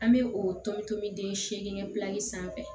An bɛ o tobi den segin pilali sanfɛ